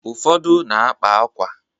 Ufọdụ na-akpa akwa.